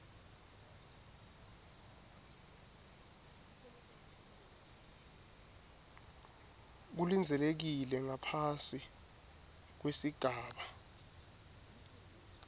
kulindzelekile ngaphasi kwesigaba